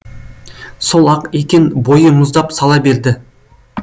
сол ақ екен бойы мұздап сала берді